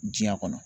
Diɲɛ kɔnɔ